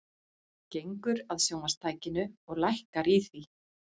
Gengur að sjónvarpstækinu og lækkar í því.